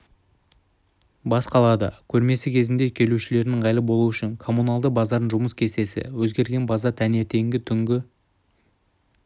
бас қалада көрмесі кезінде келушілерге ыңғайлы болу үшін коммуналды базардың жұмыс кестесі өзгерген базар таңертеңгі түнгі